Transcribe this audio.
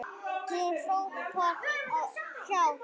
Hún hrópar á hjálp.